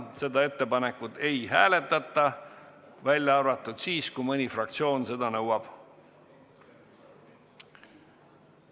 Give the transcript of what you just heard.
Seda ettepanekut ei hääletata, välja arvatud siis, kui mõni fraktsioon seda nõuab.